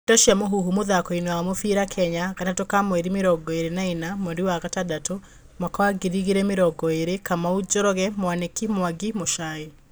Ndeto cia Mũhuhu, mũthakoini wa mũbĩra Kenya, Gatatũ ka mweri mĩrongo ĩrĩ na ina, mweri wa gatandatũ, mwaka wa ngiri igĩrĩ mĩrongo ĩrĩ:Kamau, Njoroge Mwaniki, Mwangi, Muchai.